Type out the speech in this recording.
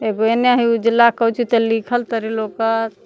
एगो ओने हई उजला कोची तो लिखल तरी लौकत।